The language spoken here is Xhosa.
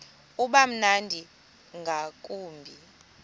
uba mnandi ngakumbi